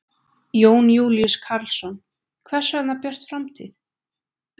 Jón Júlíus Karlsson: Hvers vegna Björt framtíð?